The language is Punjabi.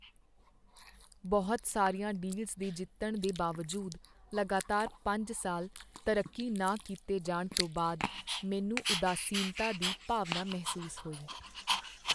ਬਹੁਤ ਸਾਰੀਆਂ ਡੀਲਸ ਦੇ ਜਿੱਤਣ ਦੇ ਬਾਵਜੂਦ ਲਗਾਤਾਰ ਪੰਜ ਸਾਲ ਤਰੱਕੀ ਨਾ ਕੀਤੇ ਜਾਣ ਤੋਂ ਬਾਅਦ ਮੈਨੂੰ ਉਦਾਸੀਨਤਾ ਦੀ ਭਾਵਨਾ ਮਹਿਸੂਸ ਹੋਈ।